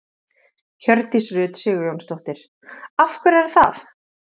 Hjördís Rut Sigurjónsdóttir: Af hverju er það?